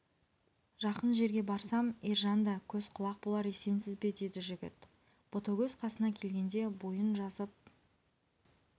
жақын жерге барсам ержан да көз-құлақ болар есенсіз бе деді жігіт ботагөз қасына келгенде бойын жазып